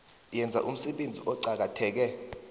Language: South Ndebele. enza umsebenzi oqakatheke